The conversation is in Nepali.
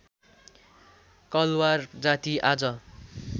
कलवार जाति आज